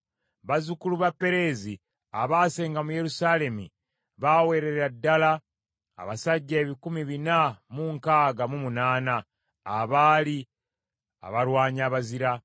Bazzukulu ba Pereezi abaasenga mu Yerusaalemi baawerera ddala abasajja ebikumi bina mu nkaaga mu munaana (468), abaali abalwanyi abazira.